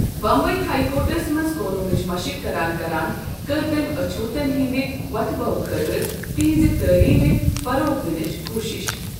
Bombay high courts منٛز قوٗنوٗنٕچ مشق کران کران کٔر تٔمۍ اچھوتن ہندِ ووتھبھوٕ خٲطرٕ تِہنزِ تٔعلیمہِ فروغ دِنٕچہِ کوٗشش۔